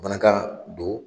Banakan don